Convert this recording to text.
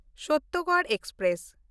ᱥᱚᱛᱛᱚᱜᱚᱲ express